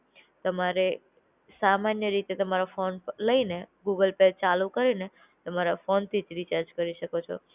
તમારે સામાન્ય રીતે તમારો ફોન લઈને ગૂગલ પે ચાલુ કરીને, તમારા ફોનથી જ રિચાર્જ કરી શકો છો.